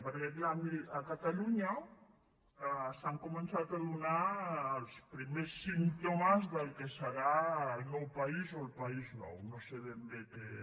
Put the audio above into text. perquè clar miri a catalunya s’han començat a donar els primers símptomes del que serà el nou país o el país nou no sé ben bé què